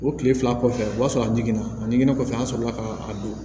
O kile fila kɔfɛ o b'a sɔrɔ a digɛna a digilen kɔfɛ an sɔrɔ la ka don